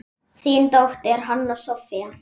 Þín dóttir, Hanna Soffía.